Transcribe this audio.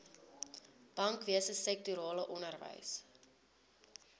bankwese sektorale onderwys